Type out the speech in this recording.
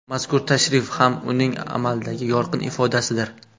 Mazkur tashrif ham uning amaldagi yorqin ifodasidir.